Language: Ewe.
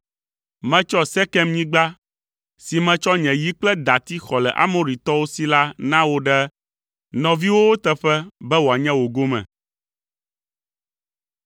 Metsɔ Sekemnyigba si metsɔ nye yi kple dati xɔ le Amoritɔwo si la na wò ɖe nɔviwòwo teƒe be wòanye wò gome.”